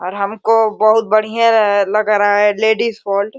और हमको बहुत बढ़िया लग रहा है लेडीज --